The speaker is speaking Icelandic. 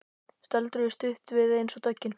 Stöldruðu stutt við eins og döggin.